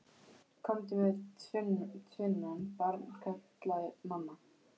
Komdu með tvinnann, barn, kallaði mamma.